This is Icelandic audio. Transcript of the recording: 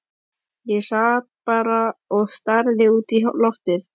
Ég sat bara og starði út í loftið.